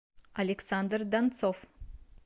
александр донцов